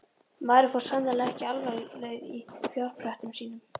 Maðurinn fór sannarlega ekki alfaraleið í fjárprettum sínum.